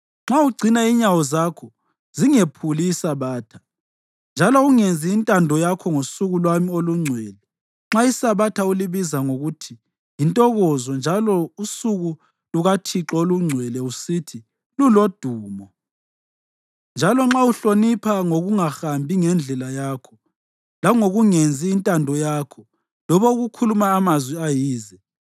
Nxa ugcina inyawo zakho zingephuli iSabatha, njalo ungenzi intando yakho ngosuku lwami olungcwele, nxa iSabatha ulibiza ngokuthi yintokozo njalo usuku lukaThixo olungcwele usithi lulodumo, njalo nxa uluhlonipha ngokungahambi ngendlela yakho, langokungenzi intando yakho loba ukukhuluma amazwi ayize,